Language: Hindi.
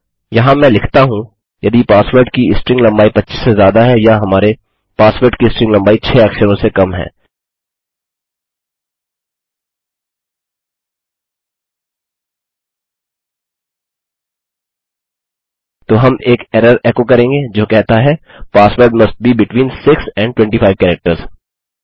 यहाँ मैं लिखता हूँ यदि पासवर्ड की स्ट्रिंग लम्बाई 25 से ज़्यादा है या हमारे पासवर्ड की स्ट्रिंग लम्बाई 6 अक्षरों से कम है तो हम एक एरर एको करेंगे जो कहता है password must be between 6 and 25 characters